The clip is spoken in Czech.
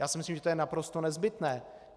Já si myslím, že to je naprosto nezbytné.